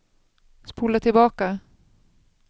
spola tillbaka